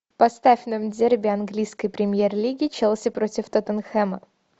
поставь нам дерби английской премьер лиги челси против тоттенхэма